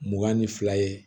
Mugan ni fila ye